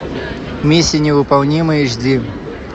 миссия невыполнима эйч ди